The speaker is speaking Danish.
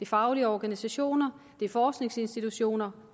faglige organisationer det er forskningsinstitutioner